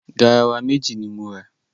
Garawa méjì ni m ra.